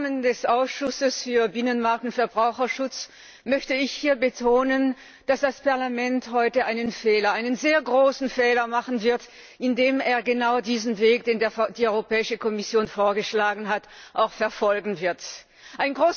Im Namen des Ausschusses für Binnenmarkt und Verbraucherschutz möchte ich hier betonen, dass das Parlament heute einen Fehler, einen sehr großen Fehler machen wird, da es genau diesen Weg, den die Europäische Kommission vorgeschlagen hat, auch einschlagen wird.